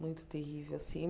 Muito terrível, sim.